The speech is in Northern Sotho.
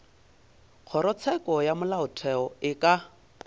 kgorotsheko ya molaotheo e ka